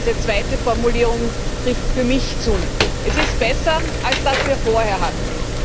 Diese zweite Formulierung trifft für mich zu. Es ist besser als das, was wir vorher hatten.